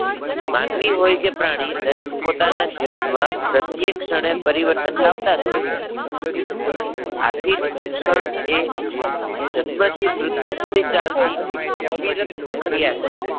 માનવી હોય કે પ્રાણી દરેક પોતાના જીવનમાં પ્રત્યેક ક્ષણે પરીવર્તન લાવતા જ હોય છે. આથી શિક્ષણ એ જન્મ થી મૃત્યુ સુધી ચાલતી અવિરત પ્રક્રિયા છે.